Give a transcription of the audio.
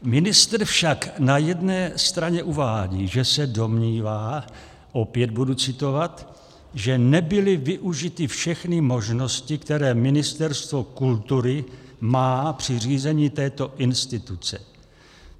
Ministr však na jedné straně uvádí, že se domnívá, opět budu citovat, že nebyly využity všechny možnosti, které Ministerstvo kultury má při řízení této instituce.